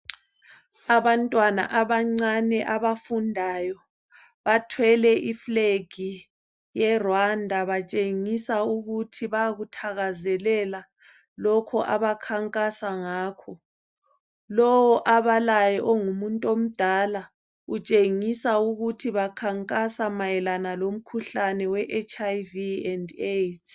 Abantwana abancane abafundayo bathwele i flag ye Rwanda batshengisa ukuthi bayakuthakazelela lokhu abakhankasa ngakho lowu abalaye ungumuntu omdala utshengisa ukuthi bakhankasa ngomkhuhlane we HIV and AIDs